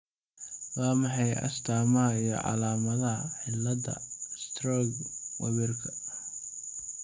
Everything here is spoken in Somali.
Waa maxay astaamaha iyo calaamadaha cillada Sturge Weberka?